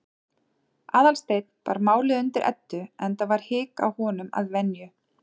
Aðalsteinn bar málið undir Eddu, enda var hik á honum að venju.